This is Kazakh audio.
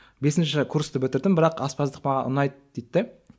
бесінші курсты бітірдім бірақ аспаздық маған ұнайды дейді де